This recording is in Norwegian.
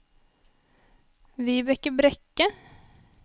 Vibeke Brekke